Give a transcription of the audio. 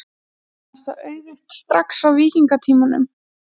Var það auðugt strax á víkingatímanum?